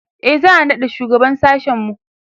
e za'a naɗa shugaban sashen mu